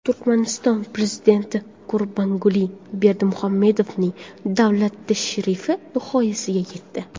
Turkmaniston Prezidenti Gurbanguli Berdimuhamedovning davlat tashrifi nihoyasiga yetdi.